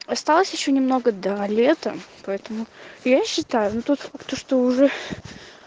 осталось ещё немного до лета поэтому я считаю но тут то что уже